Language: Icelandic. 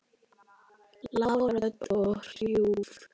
Lág rödd og hrjúf.